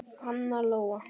Anna Lóa.